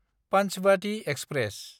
Panchbhati express